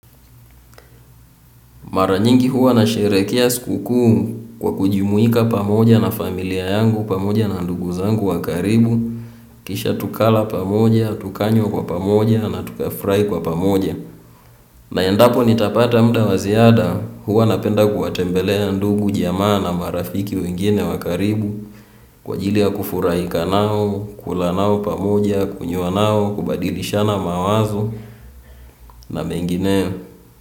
Mara nyingi huwa nasherehekea sikukuu kwa kujumuika pamoja na familia yangu pamoja na ndugu zangu wa karibu. Kisha tukala pamoja, tukanywa kwa pamoja na tukafurahi kwa pamoja. Na endapo nitapata muda wa ziada huwa napenda kuwatembelea ndugu jamaa na marafiki wengine wa karibu. Kwa ajili ya kufurahika nao, kula nao pamoja, kunywa nao, kubadilishana mawazo na mengineo.